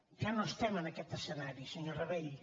ja no estem en aquest escenari senyor rabell